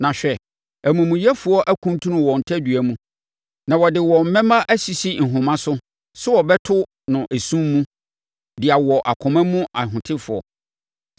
Na hwɛ, amumuyɛfoɔ akuntunu wɔn tadua mu, na wɔde wɔn mmɛmma asisi nhoma so sɛ wɔbɛto wɔ esum mu de awɔ akoma mu ahotefoɔ.